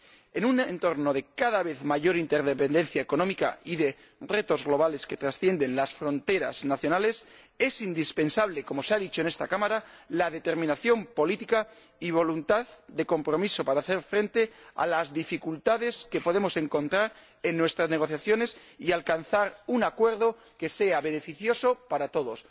En un entorno de cada vez mayor interdependencia económica y de retos globales que trascienden las fronteras nacionales, es indispensable, como se ha dicho en esta Cámara, determinación política y voluntad de compromiso para hacer frente a las dificultades que podemos encontrar en nuestras negociaciones y alcanzar un acuerdo que sea beneficioso para todos.